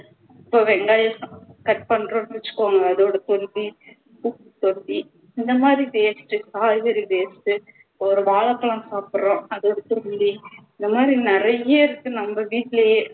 இப்போ வெங்காயம் cut பண்றோம்னு வச்சிக்கோங்க அதோட சேர்த்து இந்தமாதிரி waste காய்கறி waste ஒரு வாழைப்பழம் சாப்பிடுறோம் அதோட தோல் இந்தமாதிரி நிறைய இருக்கு நம்ம வீட்டுலேயே